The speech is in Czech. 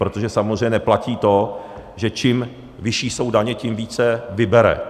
Protože samozřejmě neplatí to, že čím vyšší jsou daně, tím více vybere.